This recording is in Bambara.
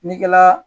Negela